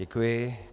Děkuji.